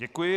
Děkuji.